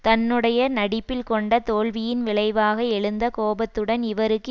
தன்னுடைய நடிப்பில் கொண்ட தோல்வியின் விளைவாக எழுந்த கோபத்துடன் இவருக்கு